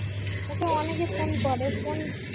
ওকে অনেকে ফোন করে ও ফোন